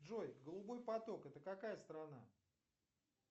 джой голубой поток это какая страна